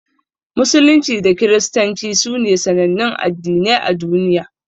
Musulunci da Kiristanci sune sanannun Addinai a duniya.